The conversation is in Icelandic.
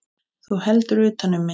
Þú heldur utan um mig.